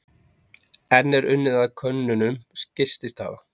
Enn er unnið að könnunum gististaða